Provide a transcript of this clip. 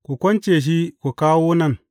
Ku kunce shi ku kawo nan.